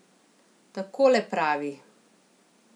Takole pravi ...